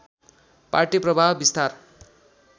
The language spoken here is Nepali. पार्टी प्रभाव बिस्तार